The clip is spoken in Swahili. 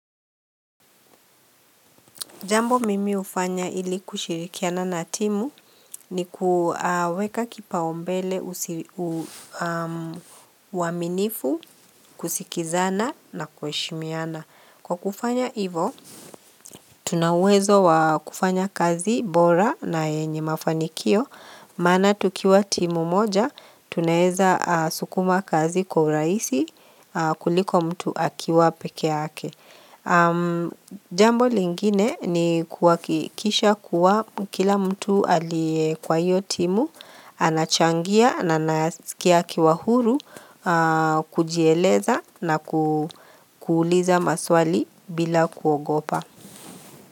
Jambo mimi hufanya ili kushirikiana na timu ni kuweka kipaombele uaminifu, kusikizana na kuheshimiana. Kwa kufanya ivo, tuna uwezo wa kufanya kazi bora na yenye mafanikio. Maana tukiwa timu moja, tunaeza sukuma kazi kwa urahisi kuliko mtu akiwa pekeyake. Jambo lingine ni kuhakisha kuwa kila mtu aliye kwa hiyotimu anachangia na anasikia akiwa huru kujieleza na kuuliza maswali bila kuogopa.